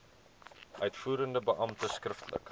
uitvoerende beampte skriftelik